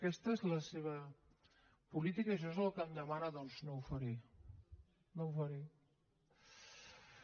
aquesta és la seva política això és el que em demana doncs no ho faré no ho faré